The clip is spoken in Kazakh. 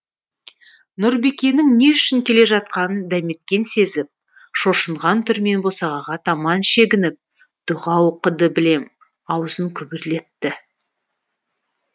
нұрбикенің не үшін келе жатқанын дәметкен сезіп шошынған түрмен босағаға таман шегініп дұға оқыды білем аузын күбірлетті